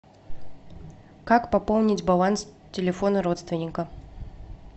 как пополнить баланс телефона родственника